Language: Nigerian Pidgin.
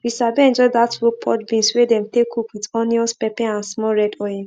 we sabi enjoy chop dat rope pod beans wey dem take cook with onions pepper and small red oil